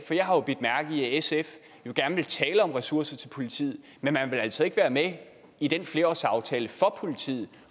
sf gerne vil tale om ressourcer til politiet men man vil altså ikke være med i den flerårsaftale for politiet